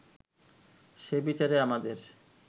সে বিচারে আমাদের